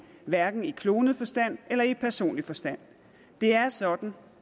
hverken i klonet forstand eller i personlig forstand det er sådan